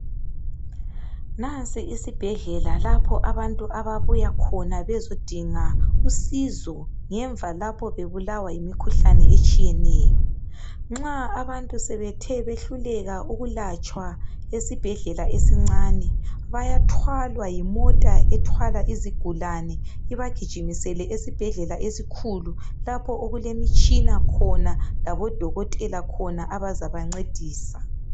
Nansi isibhedlela lapho abantu ababuya khona bezodinga usizo ngemva lapho bebulawa yimikhuhlane etshiyeneyo. Nxa abantu sebethe behluleka ukwelatshwa esibhedlela esincane bayathwalwa yimota ethwala izigulane ibagijimisele esibhedlela esikhulu lapho okulemitshina khona labodokotela khona abazabancedisa.